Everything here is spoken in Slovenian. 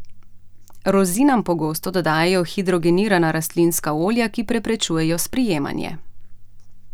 Rozinam pogosto dodajajo hidrogenirana rastlinska olja, ki preprečujejo sprijemanje.